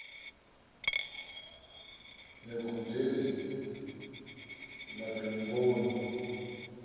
ya gudedzi ḽa domboni e